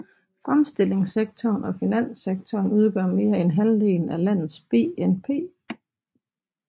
Fremstillingssektoren og finanssektoren udgør mere end halvdelen af landets BNP